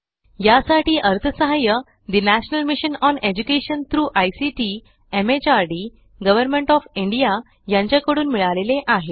यासाठी अर्थसहाय्य the national mission on education through ICT MHRD government of India यांच्या कडून मिळाले आहे